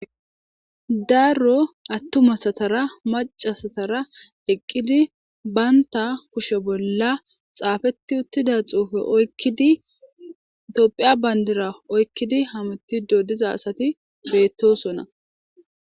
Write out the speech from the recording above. Darro attumasatara macasatara eqqidi baynta kushe bolla xaafeti uttida xuufe oykkidi tophiya bayndira oykkidi hamutido diza asati beettosonna.